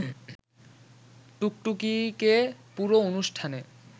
টুকটুকিকে পুরো অনুষ্ঠানে